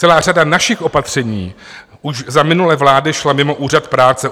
Celá řada našich opatření už za minulé vlády šla mimo úřad práce.